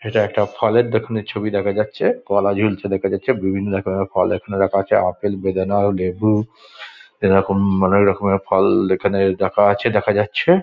এটা একটা ফলের দোকানের ছবি দেখা যাচ্ছে কলা ঝুলছে দেখা যাচ্ছে। বিভিন্ন রকমের ফল এখানে দেখা যাচ্ছে। আপেল বেদানা ও লেবু এরকম অনেক রকমের ফল এখানে দেখা আছে দেখা যাচ্ছে।